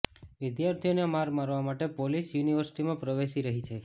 વિદ્યાર્થીઓને માર મારવા માટે પોલીસ યુનિવર્સિટીમાં પ્રવેશી રહી છે